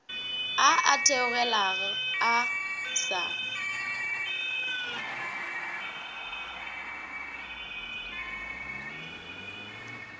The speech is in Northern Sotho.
a a theogela a sa